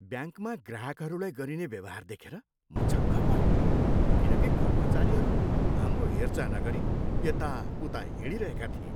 ब्याङ्कमा ग्राहकहरूलाई गरिने व्यवहार देखेर म छक्क परेँ किनकि कर्मचारीहरू हाम्रो हेरचाह नगरी यताउता हिँडिरहेका थिए।